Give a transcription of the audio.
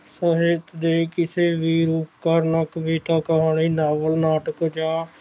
ਸਾਹਿਤ ਦੇ ਕਿਸੇ ਵੀ ਕਰਨ ਕਵਿਤਾ ਨਾਲੋਂ ਨਾਟਕ ਜਾਂ